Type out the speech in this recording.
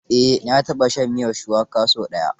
Eh, na taɓa shan miyar shuwaka sau ɗaya.